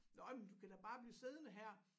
Nåh jamen du kan da bare blive siddende her